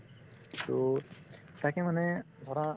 to তাকে মানে ধৰা